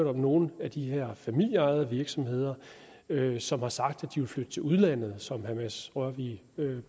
er nogen af de her familieejede virksomheder som har sagt at de vil flytte til udlandet som herre mads rørvig